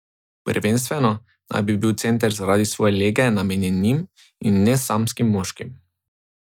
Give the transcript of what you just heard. Prvenstveno naj bi bil center zaradi svoje lege namenjen njim in ne samskim moškim.